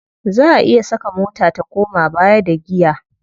Za a iya saka mota ta koma baya da giya.